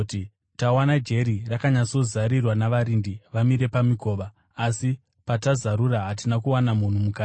“Tawana jeri rakanyatsozarirwa, navarindi vamire pamikova; asi patazarura, hatina kuwana munhu mukati.”